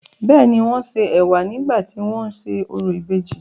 bẹ́ẹ̀ni, wọ́n ṣe ẹ̀wà nígbà tí wọ́n ń ṣe orò ìbejì.